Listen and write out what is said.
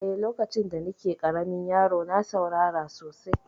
Eh, lokacin da ni ke ƙaramin yaro na saurara sosai